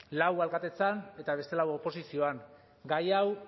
lau alkatetzan eta beste lau oposizioan gai hau